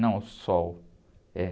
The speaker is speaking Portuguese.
Não, o, é.